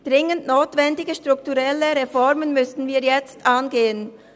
Dringend notwendige strukturelle Reformen müssen wir jetzt angehen.